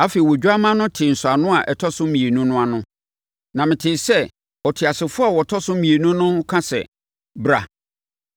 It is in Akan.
Afei, Odwammaa no tee nsɔano a ɛtɔ so mmienu no ano, na metee sɛ ɔteasefoɔ a ɔtɔ so mmienu no reka sɛ, “Bra!”